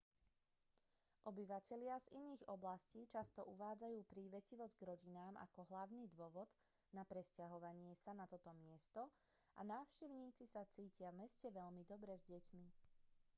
obyvatelia z iných oblastí často uvádzajú prívetivosť k rodinám ako hlavný dôvod na presťahovanie sa na toto miesto a návštevníci sa cítia v meste veľmi dobre s deťmi